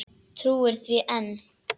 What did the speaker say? Trúir því enn.